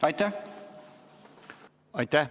Aitäh!